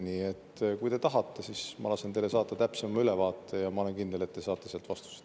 Nii et kui te tahate, siis ma lasen teile saata täpsema ülevaate, ja ma olen kindel, et te saate sealt vastused.